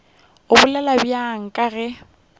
a bolela bjalo ke ge